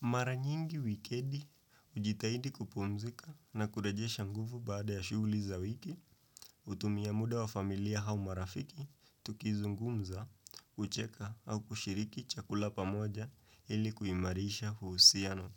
Mara nyingi wikendi, ujitahidi kupumzika na kurejesha nguvu baada ya shughuli za wiki, hutumia muda wa familia au marafiki, tukizungumza, hucheka au kushiriki chakula pamoja ili kuimarisha uhusiano.